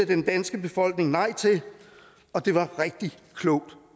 den danske befolkning nej til og det var rigtig klogt